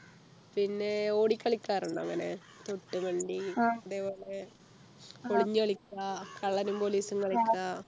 പിന്നെ ഓടിക്കളിക്കാറുണ്ടോ അങ്ങനെ വണ്ടി അതെ പോലെ ഒളിഞ്ഞു കളിക്കാ കള്ളനും police ഉം കളിക്കാ